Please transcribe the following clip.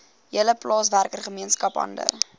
hele plaaswerkergemeenskap hande